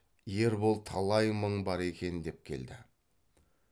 ербол талай мың бар екен деп келді